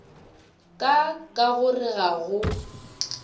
ka ka gore ga go